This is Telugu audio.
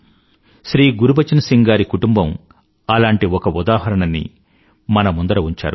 శ్రీ గురుబచన్ సింగ్ గారి కుటుంబం అలాంటి ఒక ఉదాహరణని మన ముందర ఉంచారు